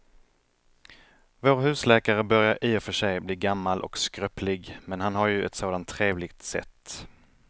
Vår husläkare börjar i och för sig bli gammal och skröplig, men han har ju ett sådant trevligt sätt!